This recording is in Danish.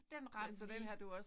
Den ramte lige